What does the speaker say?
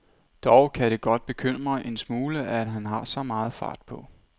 Dog kan det godt bekymre en smule, at han har så meget fart på.